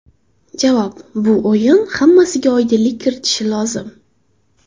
Javob: Bu o‘yin hammasiga oydinlik kiritishi lozim.